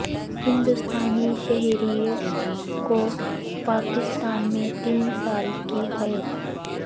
ہندوستانی شہری کو پاکستان میں تین سال کی قید